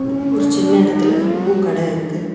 ஒரு சின்ன எடத்துல பூக்கட இருக்கு.